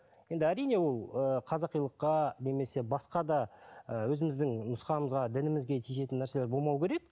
енді әрине ол ыыы қазақилыққа немесе басқа да ыыы өзіміздің нұсқамызға дінімізге тиісетін нәрселер болмауы керек